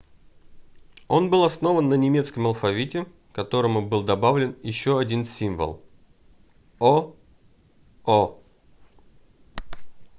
он был основан на немецком алфавите к которому был добавлен еще один символ: õ/õ